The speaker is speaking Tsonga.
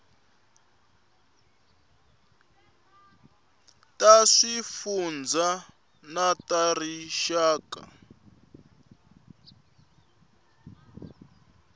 ta swifundzha na ta rixaka